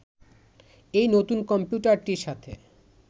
এই নতুন কম্পিউটারটির সাথে